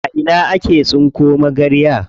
A ina ake tsinko magarya?